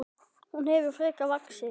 Hún hefur frekar vaxið.